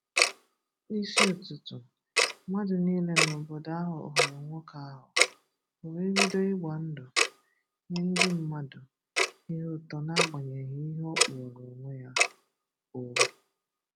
N’isi ụtụtụ, mmadụ niile n’obodo ahụ hụrụ nwoke ahụ, o wee bido ịgba ndụ, nye ndị mmadụ ihe utọ n’agbanyeghi ihe ọ kpụrọ onwe ọ.